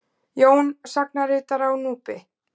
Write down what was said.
Jón sagnaritara á Núpi.